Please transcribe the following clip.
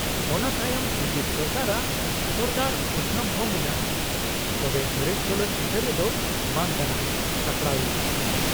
ᱚᱱᱟ ᱛᱟᱭᱚᱢ ᱥᱩᱡᱤᱛ ᱥᱚᱨᱠᱟᱨ ᱟᱜ ᱥᱚᱨᱫᱟᱨ ᱩᱫᱫᱷᱟᱢ ᱦᱚᱸ ᱢᱮᱱᱟᱜᱼᱟ, ᱛᱚᱵᱮ ᱥᱚᱨᱮᱥ ᱪᱚᱞᱚᱛ ᱪᱤᱛᱟ.ᱨ ᱫᱚ ᱵᱟᱝ ᱠᱟᱱᱟ ᱥᱟᱯᱲᱟᱣᱤᱡ ᱟᱜ ᱾